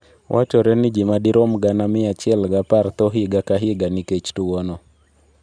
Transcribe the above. Wachore ni ji madirom 110,000 tho higa ka higa nikech tuwono.